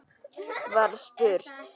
var spurt.